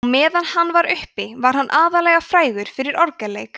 á meðan hann var uppi var hann aðallega frægur fyrir orgelleik